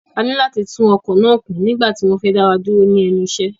A ní láti tún ọkọ̀ náà kún nígbà tí wọ́n fẹ́ dá wa dúró ní ẹnu iṣẹ́.